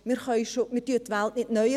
Wir erfinden die Welt nicht neu.